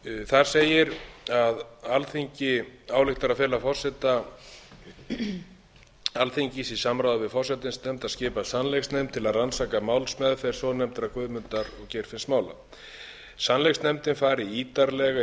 þar segir að alþingi ályktar að fela forseta alþingis í samráði við forsætisnefnd að skipa sannleiksnefnd til að rannsaka málsmeðferð svonefndra guðmundar og geirfinnsmála sannleiksnefndin fari ítarlega yfir